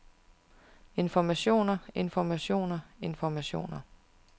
informationer informationer informationer